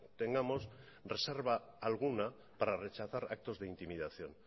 tengamos reserva alguna para rechazar actos de intimidación